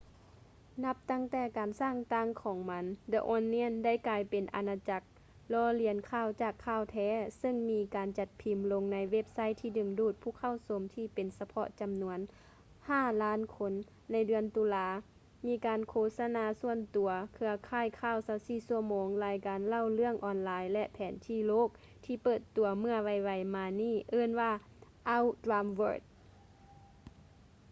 ນັບຕັ້ງແຕ່ການສ້າງຕັ້ງຂອງມັນ the onion ໄດ້ກາຍເປັນອານາຈັກລໍ້ລຽນຂ່າວຈາກຂ່າວແທ້ ເຊິ່ງມີການຈັດພິມ ລົງໃນເວັບໄຊທີ່ດຶງດູດຜູ້ເຂົ້າຊົມທີ່ເປັນສະເພາະຈຳນວນ 5,000,000 ຄົນໃນເດືອນຕຸລາ ມີການໂຄສະນາສ່ວນຕົວ ເຄືອຂ່າຍຂ່າວ 24 ຊົ່ວໂມງ ລາຍການເລົ່າເລື່ອງອອນລາຍ ແລະ ແຜນທີ່ໂລກທີ່ເປີດຕົວເມື່ອໄວໆມານີ້ເອີ້ນວ່າ our dumb world